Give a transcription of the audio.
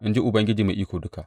In ji Ubangiji Mai Iko Duka.